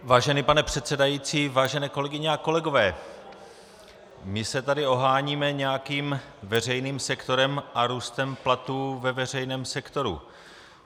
Vážený pane předsedající, vážené kolegyně a kolegové, my se tady oháníme nějakým veřejným sektorem a růstem platů ve veřejném sektoru.